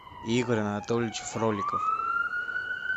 игорь анатольевич фроликов